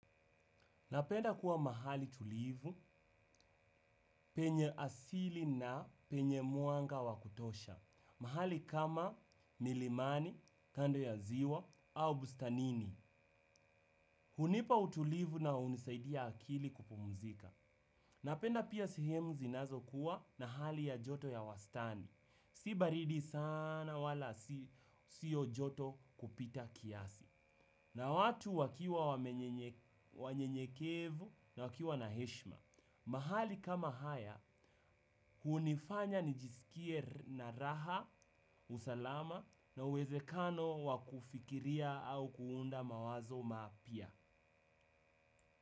Napenda kuwa mahali tulivu, penye asili na penye mwanga wa kutosha. Mahali kama milimani, kando ya ziwa, au bustanini. Hunipa utulivu na unisaidia akili kupumzika. Napenda pia sehemu zinazokuwa na hali ya joto ya wastani. Si baridi sana wala siyo joto kupita kiasi. Na watu wakiwa wanyenyekevu na wakiwa na heshma. Mahali kama haya, hunifanya nijisikie na raha, usalama na uwezekano wa kufikiria au kuunda mawazo mapya.